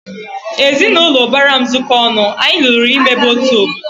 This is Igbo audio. Ezinaụlọ ubara m zuko ọnụ, anyị lụrụ ịmebe otu obodo